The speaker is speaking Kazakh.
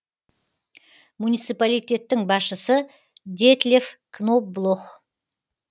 муниципалитеттің басшысы детлеф кноблох